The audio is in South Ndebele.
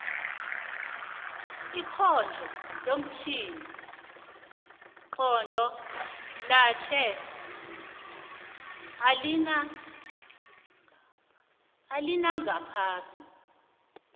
ikhondlo lomtjhini nqondo lanje alina alingaphasi